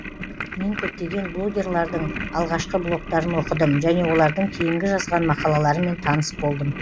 мен көптеген блогерлардың алғашқы блогтарын оқыдым және олардың кейінгі жазған мақалаларымен таныс болдым